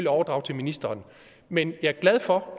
overdrage til ministeren men jeg er glad for